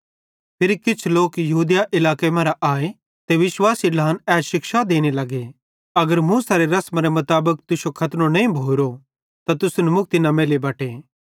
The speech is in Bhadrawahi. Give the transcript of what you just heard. फिरी किछ लोक यहूदिया इलाके मरां आए ते विश्वासी ढ्लान ए शिक्षा देने लगे अगर मूसेरे रसमरे मुताबिक तुश्शो खतनो नईं भोरो त तुसन मुक्ति न मैल्ली बटे